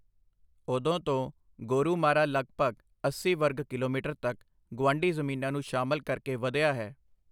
ਉਦੋਂ ਤੋਂ, ਗੋਰੁਮਾਰਾ ਲਗਭਗ ਅੱਸੀ ਵਰਗ ਕਿਲੋਮੀਟਰ ਤੱਕ ਗੁਆਂਢੀ ਜ਼ਮੀਨਾਂ ਨੂੰ ਸ਼ਾਮਲ ਕਰਕੇ ਵਧਿਆ ਹੈ।